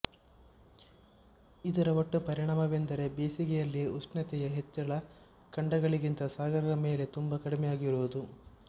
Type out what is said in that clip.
ಇದರ ಒಟ್ಟು ಪರಿಣಾಮವೆಂದರೆ ಬೇಸಗೆಯಲ್ಲಿ ಉಷ್ಣತೆಯ ಹೆಚ್ಚಳ ಖಂಡಗಳಿಗಿಂತ ಸಾಗರಗಳ ಮೇಲೆ ತುಂಬ ಕಡಿಮೆಯಾಗಿರುವುದು